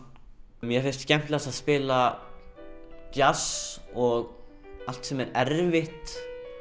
mér finnst skemmtilegast að spila djass og allt sem er erfitt